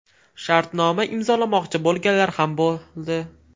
Shartnoma imzolamoqchi bo‘lganlar ham bo‘ldi.